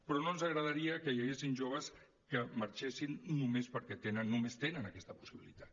però no ens agradaria que hi haguessin joves que marxessin perquè només tenen aquesta possibilitat